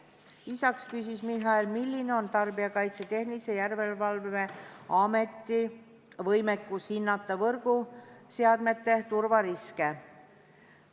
Lisaks küsis Michal, milline on Tarbijakaitse ja Tehnilise Järelevalve Ameti võimekus hinnata võrguseadmete turvariske.